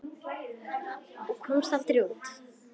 Ég komst aldrei út.